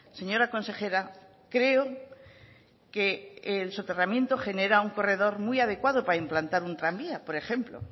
señora consejera creo que el soterramiento genera un corredor muy adecuado para implantar un tranvía por ejemplo